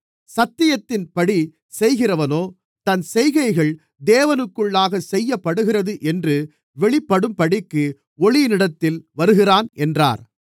சத்தியத்தின்படி செய்கிறவனோ தன் செய்கைகள் தேவனுக்குள்ளாக செய்யப்படுகிறது என்று வெளிப்படும்படிக்கு ஒளியினிடத்தில் வருகிறான் என்றார்